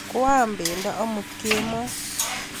Kwa am pendo amut kemboi